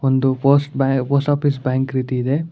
ಇದು post office bank ರೀತಿ ಇದೆ.